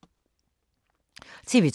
TV 2